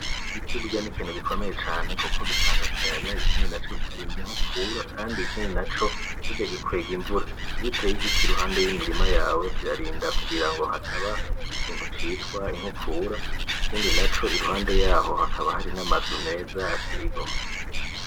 Igiti burya n’ikintu gikomeye cane kuko gitanga akayaga ikindi naco kikarinda inkukura kandi ikindi naco burya gikwega invura. Iyo uteye igiti iruhande y’imirima yawe kirarinda kugirango hataba ikintu citwa inkukura ikindi naco iruhande yaho hakaba hari n’amazu meza ateye igomwe.